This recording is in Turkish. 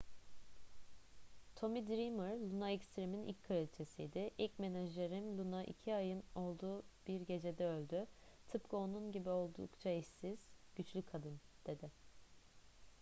tommy dreamer luna extreme'in ilk kraliçesiydi. i̇lk menajerim luna iki ayın olduğu bir gecede öldü. tıpkı onun gibi oldukça eşsiz. güçlü kadın. dedi